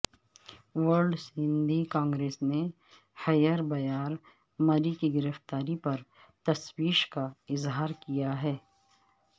world Sindhi Congress نے حیربیار مری کی گرفتاری پر تشویش کا اظہار کیا ہے